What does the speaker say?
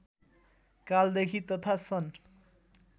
कालदेखि तथा सन्